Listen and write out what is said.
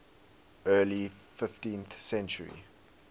early fifteenth century